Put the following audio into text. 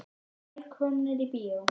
Velkomnir í bíó.